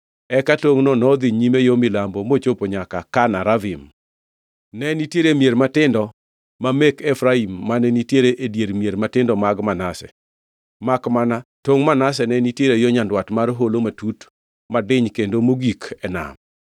Eka tongʼno nodhi nyime yo milambo mochopo nyaka Kana Ravin. Ne nitiere mier matindo ma mek Efraim mane nitiere e dier mier matindo mag Manase, makmana tongʼ Manase ne nitiere yo nyandwat mar holo matut madiny kendo mogik e nam.